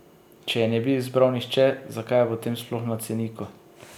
Če je ne bi izbral nihče, zakaj je potem sploh na ceniku?